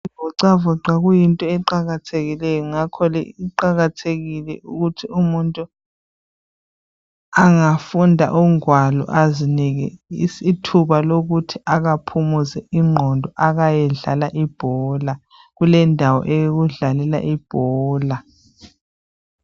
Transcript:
Uzivoxavoxa kuyinto eqakathekileyo ngakho ke kuqakathekile ukuthi umuntu angafunda ingwalo azinike ithuba lokuthi akaphumuze ingqondo akayedlala ibhola , kulendawo yokudlalela ibhola.